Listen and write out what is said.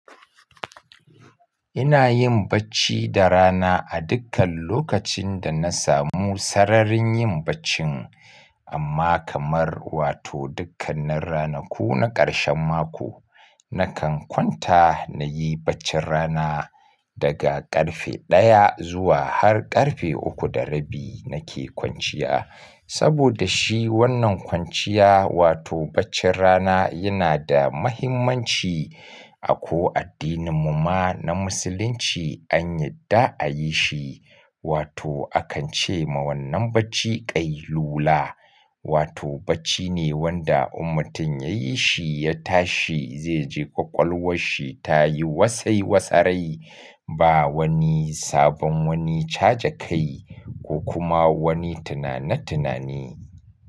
Ina yin bacci da rana a dukkan lokacin da na samu sararin yin baccin amma kamar wato dukkanin ranaku na karshen mako nakan kwanta na yi baccin rana daga ƙarfe ɗaya zuwa har ƙarfe uku da rabi nake kwanciya. Saboda shi wannan kwanciya wato baccin rana yana da mahimmanci. A ko addinin mu ma na musulunci an yadda a yi shi wato akan ce ma wannan bacci ƙai lula wato bacci ne wanda ummutum ya yi shi ya tashi zai ji ƙwaƙwalwar shi ta yi wasai wasarai ba wani sabon wani caje kai ko kuma wani tunane tunane.